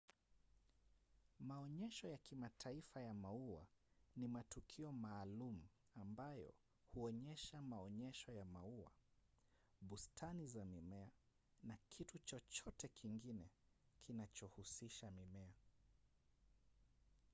maonyesho ya kimataifa ya maua ni matukio maalum ambayo huonyesha maonyesho ya maua bustani za mimea na kitu chochote kingine kinachohusisha mimea